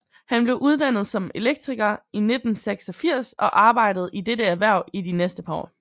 Han blev uddannet som elektriker i 1986 og arbejdede i dette erhverv de næste par år